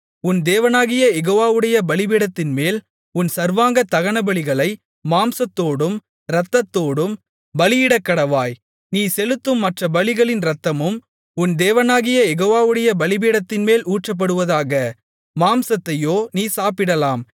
உன் தேவனாகிய யெகோவாவுடைய பலிபீடத்தின்மேல் உன் சர்வாங்க தகனபலிகளை மாம்சத்தோடும் இரத்தத்தோடும் பலியிடக்கடவாய் நீ செலுத்தும் மற்ற பலிகளின் இரத்தமும் உன் தேவனாகிய யெகோவாவுடைய பலிபீடத்தின்மேல் ஊற்றப்படுவதாக மாம்சத்தையோ நீ சாப்பிடலாம்